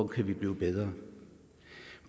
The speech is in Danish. kan blive bedre